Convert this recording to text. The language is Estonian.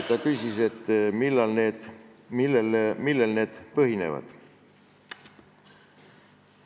Ta küsis, millel need põhinevad.